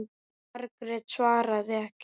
Margrét svaraði ekki.